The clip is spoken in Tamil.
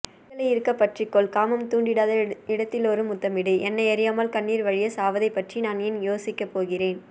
கைகளை இருக்கப் பற்றிக்கொள் காமம் தூண்டிடாத இடத்திலொரு முத்தமிடு என்னையறியாமல் கண்ணீர் வழிய வை சாவதைப்பற்றி நான் ஏன் யோசிக்கப்போகிறேன்